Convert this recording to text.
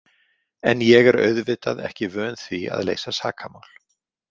En ég er auðvitað ekki vön því að leysa sakamál.